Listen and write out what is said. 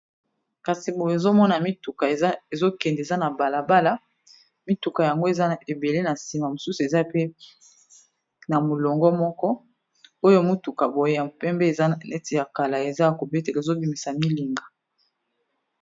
kasi boye ozomona mituka ezokende eza na balabala mituka yango eza ebele na nsima mosusu eza pe na molongo moko oyo motuka boye ya mpembe eza na leti ya kala eza ya kobetela ezobimisa milinga